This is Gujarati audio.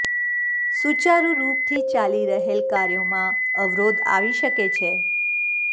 સુચારુ રૂપ થી ચાલી રહેલ કાર્યોમાં અવરોધ આવી શકે છે